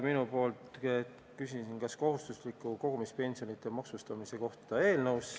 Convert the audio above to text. Nimelt küsisin mina kohustusliku kogumispensioni maksustamise kohta.